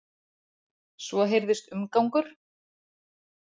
Svo heyrðist umgangur.